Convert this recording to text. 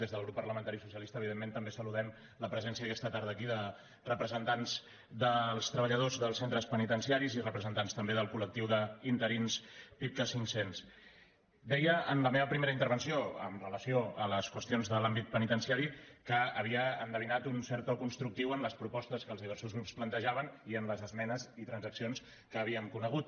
des del grup parlamentari socialista evidentment també saludem la presència aquesta tarda aquí de representants dels treballadors dels centres penitenciaris i representants també del coldeia en la meva primera intervenció amb relació a les qüestions de l’àmbit penitenciari que havia endevinat un cert to constructiu en les propostes que els diversos grups plantejaven i en les esmenes i transaccions que havíem conegut